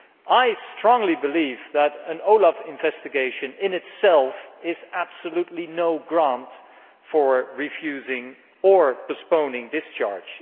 I strongly believe that an OLAF investigation, in itself, is absolutely no reason for refusing or postponing discharge.